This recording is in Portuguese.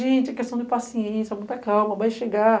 Gente, é questão de paciência, muita calma, vai chegar.